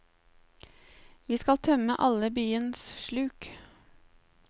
Vi skal tømme alle byens sluk.